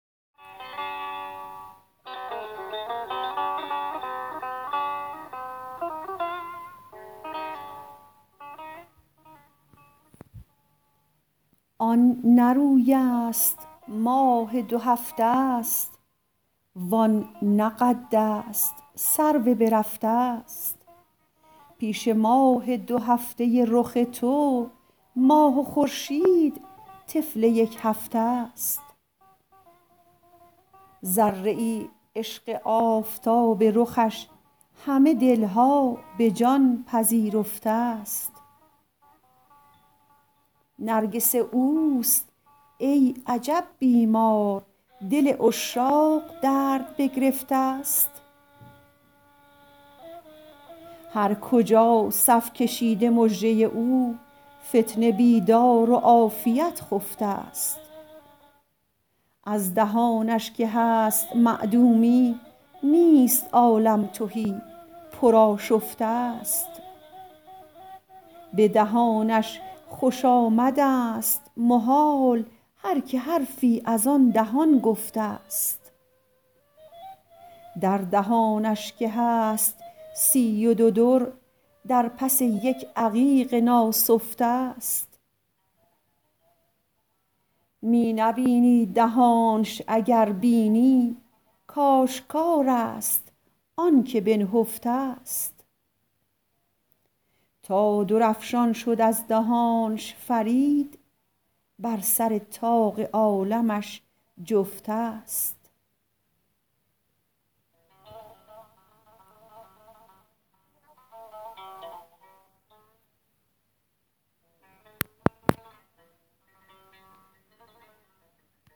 آن نه روی است ماه دو هفته است وان نه قد است سرو بررفته است پیش ماه دو هفته رخ تو ماه و خورشید طفل یک هفته است ذره ای عشق آفتاب رخش همه دلها به جان پذیرفته است نرگس اوست ای عجب بیمار دل عشاق درد بگرفته است هر کجا صف کشیده مژه او فتنه بیدار و عافیت خفته است از دهانش که هست معدومی نیست عالم تهی پر آشفته است به دهانش خوش آمد است محال هر که حرفی از آن دهان گفته است در دهانش که هست سی و دو در در پس یک عقیق ناسفته است می نبینی دهانش اگر بینی کاشکار است آنکه بنهفته است تا درافشان شد از دهانش فرید بر سر طاق عالمش جفته است